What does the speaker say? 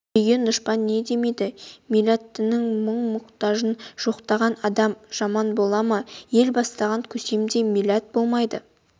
күйген дұшпан не демейді милләтінің мұң-мұқтажын жоқтаған адам жаман бола ма ел бастаған көсемде милләт болмайды